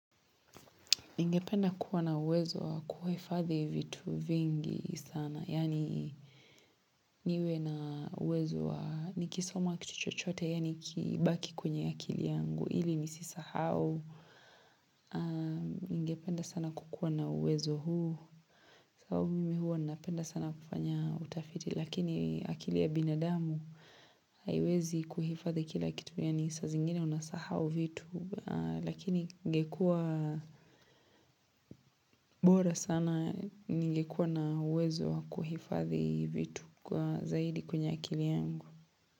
Ningependa kuwa na uwezo wa kuhifadhi vitu vingi sana. Yani niwe na uwezo wa nikisoma kitu chochote, yani kibaki kwenye akili yangu. Ili ni sisahau aah Ningependa sana kukuwa na uwezo huu. Kwa hio mimi huwa napenda sana kufanya utafiti. Lakini akili ya binadamu, haiwezi kuhifadhi kila kitu. Yani sa zingine unasahau vitu. Lakini ingekua bora sana. Nilikuwa na uwezo wa kuhifadhi vitu kwa zaidi kwenye akili yangu.